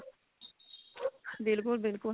ਬਿਲਕੁਲ ਬਿਲਕੁਲ